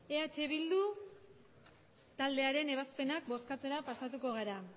eh bildu taldearen ebazpenak bozkatzera pasatuko gara